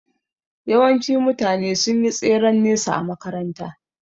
Yawanci mutane sun yi tseren nesa a makaranta